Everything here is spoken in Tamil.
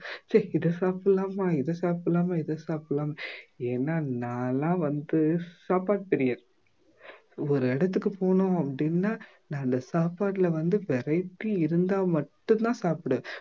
இதை சாப்பிடலாமா இதை சாப்பிடலாமா இதை சாப்பிடலாமா ஏன்னா நானெல்லாம் வந்து சாப்பாடு பிரியர் ஒரு இடத்துக்கு போகணும் அப்படின்னா நான் அந்த சாப்பாட்டுல வந்து variety இருந்தா மட்டும்தான் சாப்பிடுவேன்